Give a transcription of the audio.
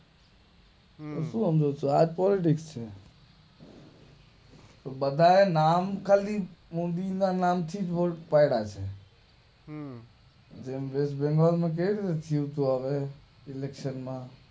આજ પોલિટિક્સ છે બધાયે નામ ખાલી મોદી ના નામ થી જ વોટ પાડા છે હમ્મ ઇલેકશન માં